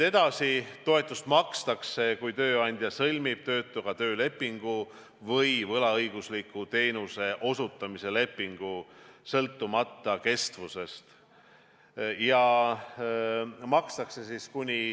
Edasi, toetust makstakse, kui tööandja sõlmib töötuga töölepingu või võlaõigusliku teenuse osutamise lepingu, sõltumata kestusest.